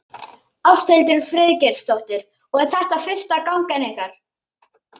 Ásthildur Friðgeirsdóttir: Og er þetta fyrsta gangan ykkar?